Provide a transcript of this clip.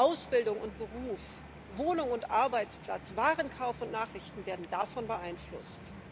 Ausbildung und Beruf, Wohnung und Arbeitsplatz, Warenkauf und Nachrichten werden davon beeinflusst.